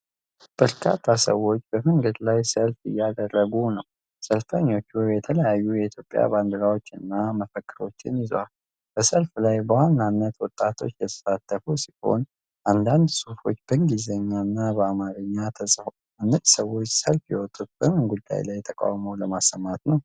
በርካታ ሰዎች በመንገድ ላይ ሰልፍ እያደረጉ ነው። ሰልፈኞቹ የተለያዩ የኢትዮጵያ ባንዲራዎችንና መፈክሮችን ይዘዋል። በሰልፉ ላይ በዋናነት ወጣቶች የተሳተፉ ሲሆን፣ አንዳንድ ፅሁፎች በእንግሊዝኛና በአማርኛ ተጽፈዋል። እነዚህ ሰዎች ሰልፍ የወጡት በምን ጉዳይ ላይ ተቃውሞ ለማሰማት ነው?